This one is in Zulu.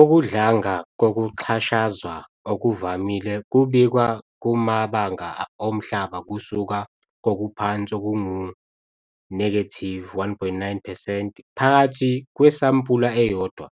Ukudlanga kokuxhashazwa okuvamile kubikwa kumabanga omhlaba kusuka kokuphansi okungu-1.9 percent phakathi kwesampula eyodwa